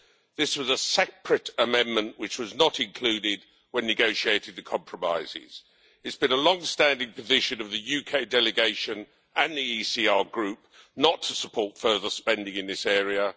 This was a separate amendment which was not included when negotiating the compromises. It has been the long-standing position of the UK delegation and the ECR Group not to support further spending in this area.